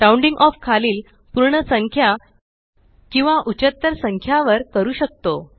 rounding off खालील पूर्ण संख्या किंवा उचत्तर संख्या वर करू शकतो